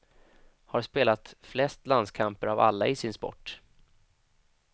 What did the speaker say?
Har spelat flest landskamper av alla i sin sport.